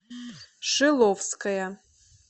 шиловская